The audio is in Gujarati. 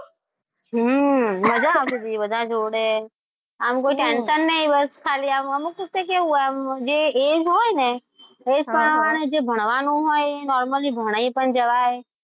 હમ મજા આવતી હતી. બધા જોડે આમ કોઈ ટેન્શન નહીં. ખાલી આમ આમ કેવું કે જે એ જ હોય ને જે ભણવાનું હોય એ normally ભણાઈ પણ જવાય.